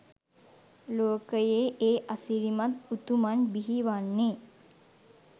ලෝකයේ ඒ අසිරිමත් උතුමන් බිහි වන්නේ